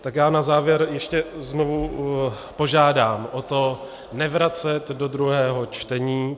Tak já na závěr ještě znovu požádám o to nevracet do druhého čtení.